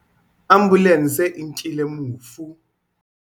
Ambulanse e nkile mofu.